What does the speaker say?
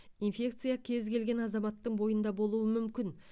инфекция кез келген азаматтың бойында болуы мүмкін